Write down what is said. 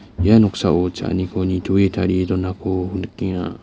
ia noksao cha·aniko nitoe tarie donako nikenga.